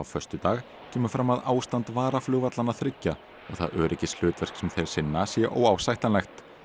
föstudag kemur fram að ástand varaflugvallanna þriggja og það öryggishlutverk sem þeir sinna sé óásættanlegt